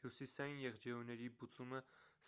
հյուսիսային եղջերուների բուծումը